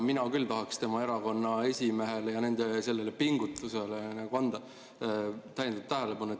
Mina küll tahaks tema erakonna esimehele ja nende pingutusele juhtida täiendavat tähelepanu.